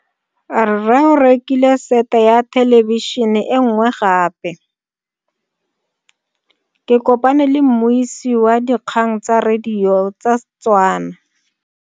Rre o rekile sete ya thelebišene e nngwe gape. Ke kopane mmuisi w dikgang tsa radio tsa Setswana.